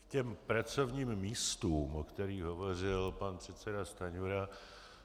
K těm pracovním místům, o kterých hovořil pan předseda Stanjura.